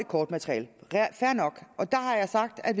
kortmateriale det er fair nok og der har jeg sagt at